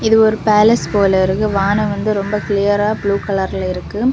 இது ஒரு பேலஸ் போல இருக்கு வானம் வந்து ரொம்ப கிளியரா ப்ளூ கலர்ல இருக்கு.